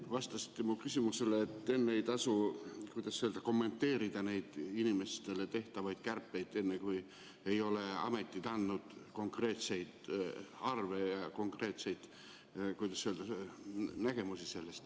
Te vastasite mu eelmisele küsimusele, et enne ei tasu kommenteerida neid inimeste puhul tehtavaid kärpeid, kui ametid ei ole andnud konkreetseid arve, konkreetseid, kuidas öelda, nägemusi.